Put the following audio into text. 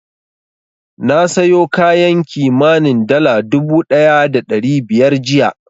Na sayo kayan kimanin dala dubu ɗaya da ɗari biyar jiya.